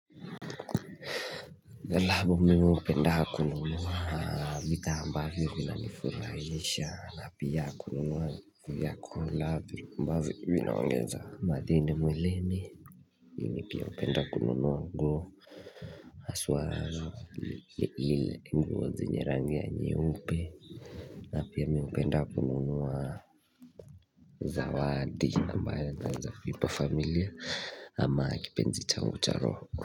Angalabu mimi hupenda kununua vitambaa vinavyonifurahisha na pia kununua vyakula ambavyo vinaongeza madini mwilini ili pia napenda kununua nguo haswa lile nguo zenye rangi ya nyeupe na pia mi hupenda kununua zawadi ambayo naweza ipa familia ama kipenzi changu cha roho.